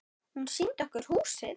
Hún sýndi okkur húsið.